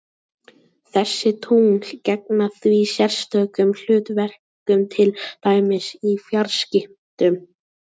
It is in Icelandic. Þessi tungl gegna því sérstökum hlutverkum, til dæmis í fjarskiptum.